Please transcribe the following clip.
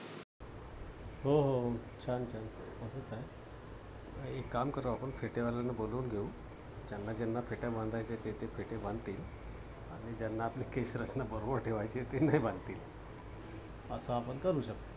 हो हो हो. छान छान. तस चालेल. एक काम करू आपण फेटेवाल्यांना बोलवून घेवू. ज्यांना ज्यांना फेटे बांधायचे ते ते फेटे बांधतील. आणि ज्यांना आपले केश रचना बरोबर ठेवायची आहे ते नाही बांधतील. अस आपण करू शकतो.